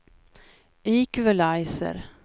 equalizer